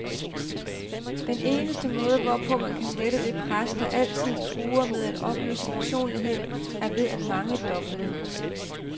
Den eneste måde, hvorpå man kan lette det pres, der altid truer med at opløse personligheden, er ved at mangedoble den.